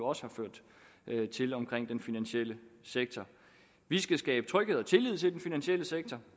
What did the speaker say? også har ført til omkring den finansielle sektor vi skal skabe tryghed og tillid til den finansielle sektor